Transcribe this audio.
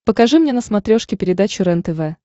покажи мне на смотрешке передачу рентв